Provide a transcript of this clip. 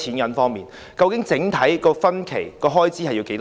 究竟計劃的整體及分期開支是多少？